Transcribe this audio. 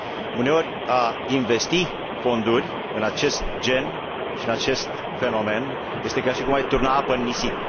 Uneori, a investi fonduri în acest gen și în acest fenomen este ca și cum ai turna apă în nisip.